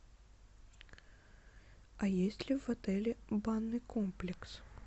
а есть ли в отеле банный комплекс